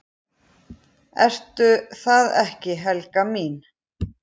Ertu það ekki, Helga mín?